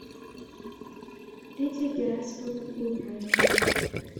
лидия герасимовна имбраева